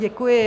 Děkuji.